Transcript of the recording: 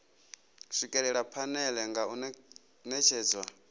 swikelela phanele nga u netshedza